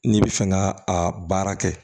N'i bɛ fɛ ka a baara kɛ